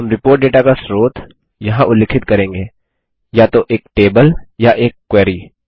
हम report data का स्रोत यहाँ उल्लिखित करेंगे या तो एक टेबल या एक क्वेरी